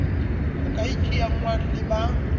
ho ka iteangwang le ba